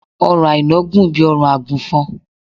ọrùn aina gùn bí órùn agùnfọn